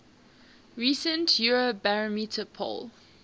recent eurobarometer poll